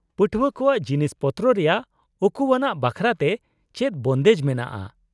-ᱯᱟᱹᱴᱷᱣᱟᱹ ᱠᱚᱣᱟᱜ ᱡᱤᱱᱤᱥᱯᱚᱛᱨᱚ ᱨᱮᱭᱟᱜ ᱩᱠᱩᱣᱟᱱᱟᱜ ᱵᱟᱠᱷᱨᱟᱛᱮ ᱪᱮᱫ ᱵᱚᱱᱫᱮᱡ ᱢᱮᱱᱟᱜᱼᱟ ?